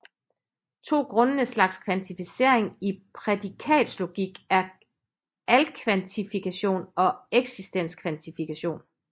To grundlæggende slags kvantificering i prædikatslogik er alkvantifikation og eksistenskvantifikation